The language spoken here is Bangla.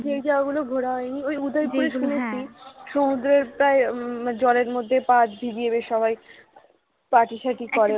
যে জায়গাগুলো ঘোরা হয়নি ওই উদয়পুর এর সমুদ্রে সমুদ্রে প্রায় জলের মধ্যে পা ভিজিয়ে বেশ সবাই party সাটি করে